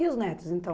E os netos, então?